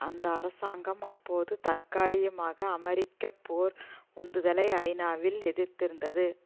அந்த அரசாங்கம் அப்பொழுது தற்காலிகமாக அமெரிக்க போர் உந்துதலை ஐநாவில் எதிர்த்திருந்தது